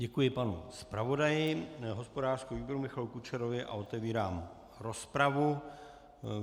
Děkuji panu zpravodaji hospodářského výboru Michalu Kučerovi a otevírám rozpravu.